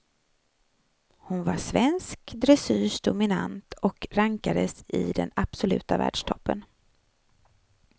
Hon var svensk dressyrs dominant och rankades i den absoluta världstoppen.